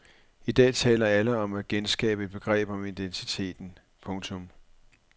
I dag taler alle om at genskabe et begreb om identiteten. punktum